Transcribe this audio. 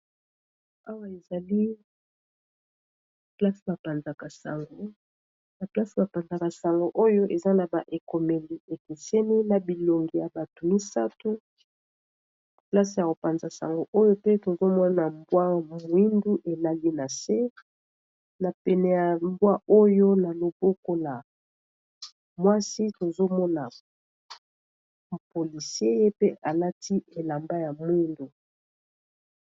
awa ezali na place bapanzaka sango oyo eza na ba ekomeli ekeseni na bilongi ya bato misato place ya kopanza sango oyo te tozomona mbwa mwindu elali na se na pene ya mbwa oyo na loboko na mwasi tozomona poliseye pe alati elamba ya mwindu